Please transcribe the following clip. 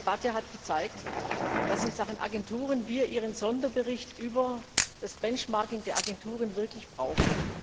Die Debatte hat gezeigt, dass wir in Sachen Agenturen Ihren Sonderbericht über das Benchmarking der Agenturen wirklich brauchen.